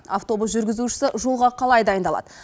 автобус жүргізушісі жолға қалай дайындалады